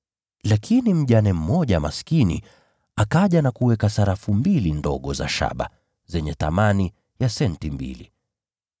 Lakini mjane mmoja maskini akaja na kuweka sarafu mbili ndogo za shaba zenye thamani ya senti mbili.